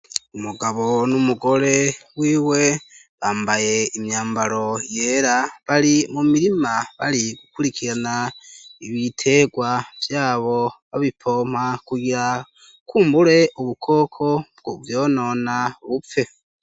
Umugabo n'umugore w'iwe bambaye imyambaro yera bari mu mirima bari gukurikirana ibitegwa vyabo babipompa kugira kumbure ubukoko bwovyonona bupfe.